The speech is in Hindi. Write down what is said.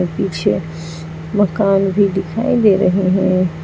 पीछे मकान भी दिखाई दे रहे हैं।